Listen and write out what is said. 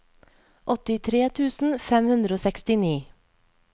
åttitre tusen fem hundre og sekstini